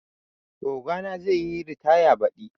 Ogana zai yi ritaya badi